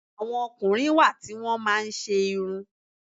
Àwọn ọkùnrin wá ti wọn máa ń ṣe irun.